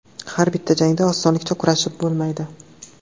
Har bitta jangda osonlikcha kurashib bo‘lmaydi.